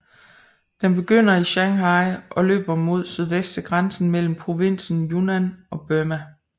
Den begynder i Shanghai og løber mod sydvest til grænsen mellem provinsen Yunnan og Burma